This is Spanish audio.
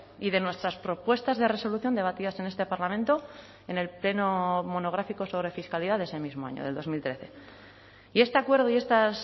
y de nuestras propuestas de resolución debatidas en este parlamento en el pleno monográfico sobre fiscalidad de ese mismo año del dos mil trece y este acuerdo y estas